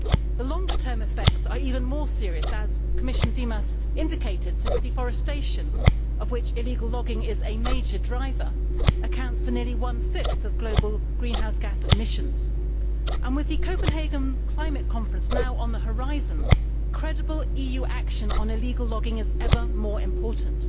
The longer term effects are even more serious, as Commissioner Dimas indicated, since deforestation, of which illegal logging is a major driver, accounts for nearly one fifth of global greenhouse gas emissions. With the Copenhagen Climate Conference now on the horizon, credible EU action on illegal logging is ever more important.